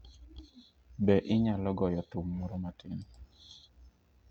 Be inyalo goyo thum moro matin?